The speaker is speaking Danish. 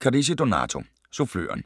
Carrisi, Donato: Suffløren